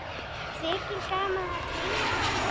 Þykir gaman að teyma hann.